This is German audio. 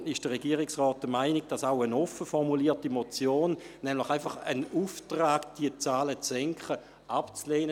Deshalb ist der Regierungsrat der Meinung, auch eine offen formulierte Motion, nämlich ein Auftrag, diese Zahlen zu senken, sei abzulehnen.